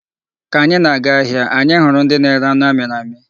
Ka anyị na-acha ahịa, anyị hụrụ ndị na-ere anu amịrị amị.